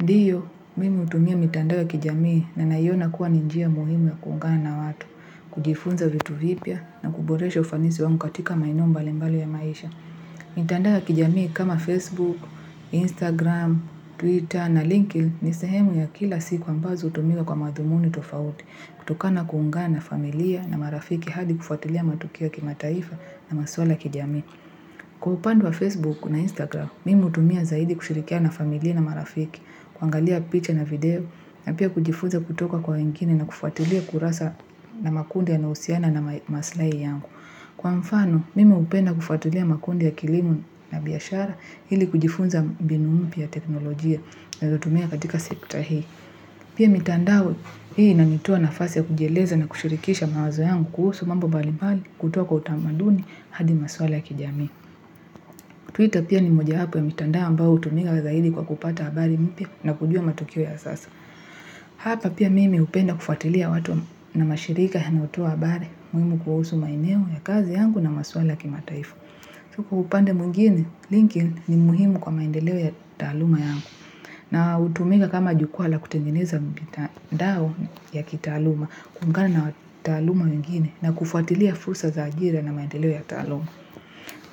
Ndiyo, mimi hutumia mitandao ya kijamii na naiona kuwa ni njia muhimu ya kuungana na watu, kujifunza vitu vipya na kuboresha ufanisi wangu katika maeneo mbalimbali ya maisha. Mitandao ya kijamii kama Facebook, Instagram, Twitter na linki ni sehemu ya kila siku ambazo hutumiwa kwa madhumuni tofauti kutokana kuungana familia na marafiki hadi kufuatilia matukia kima taifa na maswala ya kijamii. Kwa upande wa Facebook na Instagram, mimi hutumia zaidi kushirikiana na familia na marafiki, kuangalia picha na video, na pia kujifunza kutoka kwa wengine na kufuatilia kurasa na makundi yanayohusiana na maslai yangu. Kwa mfano, mimi hupenda kufuatilia makundi ya kilimu na biashara ili kujifunza mbinu moya ya teknolojia naezatumia katika sekta hii. Pia mitandao hii inanitaa na fasi ya kujieleza na kushirikisha mawazo yangu kuhusu mambo bali bali kutoka utamaduni hadi maswala ya kijami. Twitter pia ni moja wapo ya mitandao ambayo hutumiga zaidi kwa kupata habari mpya na kujua matukio ya sasa. Hapa pia mimi hupenda kufuatilia watu na mashirika yanayotoa habari, muhimu kuhusu maeneo ya kazi yangu na maswala ya kimataifa. Chuku upande mwingine, linkin ni muhimu kwa maendeleo ya taaluma yangu. Na utumika kama jukua la kutengeneza mpita ndao ya kitaaluma kumkana na taluma wengine na kufuatilia fursa za ajira na maendeleo ya taaluma.